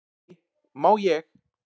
"""Nei, má ég!"""